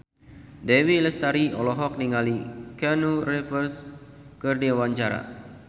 Dewi Lestari olohok ningali Keanu Reeves keur diwawancara